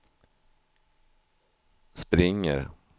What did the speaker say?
springer